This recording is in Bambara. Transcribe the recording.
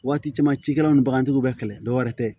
Waati caman cikɛlaw ni bagantigiw bɛ kɛlɛ dɔwɛrɛ tɛ